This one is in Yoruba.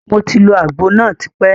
Moti lo àgbo náà tí pẹ́.